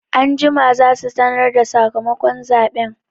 Anjima za su sanarda sakamakon zaɓen